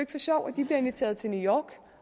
sjov at de bliver inviteret til new york